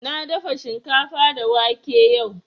Na dafa shinkafa da wake yau